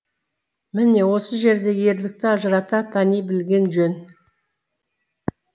міне осы жерде ерлікті ажырата тани білген жөн